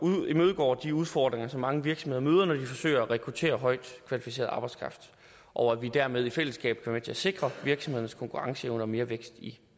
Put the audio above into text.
imødegår de udfordringer som mange virksomheder møder når de forsøger at rekruttere højtkvalificeret arbejdskraft og at vi dermed i fællesskab kan være med til at sikre virksomhedernes konkurrenceevne og mere vækst i